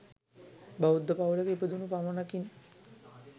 බෞද්ධ පවුලක ඉපදුනු පමණකින්